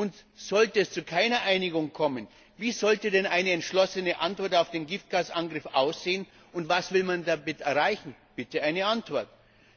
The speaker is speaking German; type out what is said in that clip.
Und sollte es zu keiner Einigung kommen, wie sollte denn eine entschlossene Antwort auf den Giftgasangriff aussehen, und was will man damit erreichen? Bitte eine Antwort!